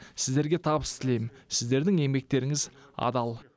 сіздерге табыс тілеймін сіздердің еңбектеріңіз адал